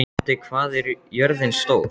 Addi, hvað er jörðin stór?